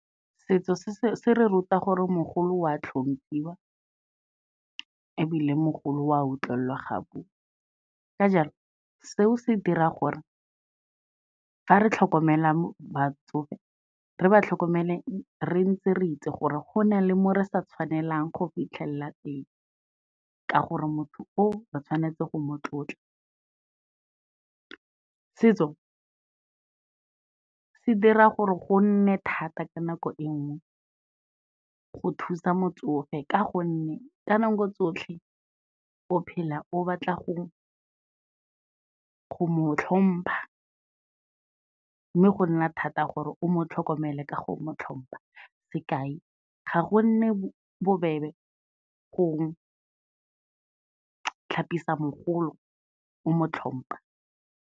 Setso se, se re ruta gore mogolo wa hlomphiwa ebile mogolo wa utlwelelwa ga bua, ka jalo seo se dira gore fa re tlhokomela batsofe, re ba tlhokomele re ntse re itse gore go na le mo re sa tshwanelang go fitlhelela teng, ka gore motho o re tshwanetse go mo tlotla. Setso se dira gore go nne thata ka nako e nngwe go thusa motsofe, ka gonne ka nako tsotlhe, o phela o batla go mo hlompha mme go nna thata gore o mo tlhokomele ka go mo hlompa, sekai ga gonne bobebe go tlhapisa mogolo o mo hlompa.